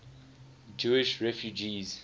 jewish refugees